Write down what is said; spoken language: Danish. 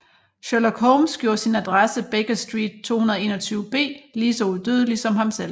Sherlock Holmes gjorde sin adresse Baker Street 221 B lige så udødelig som ham selv